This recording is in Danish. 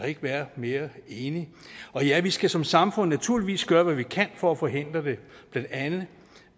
ikke være mere enig og ja vi skal som samfund naturligvis gøre hvad vi kan for at forhindre det blandt andet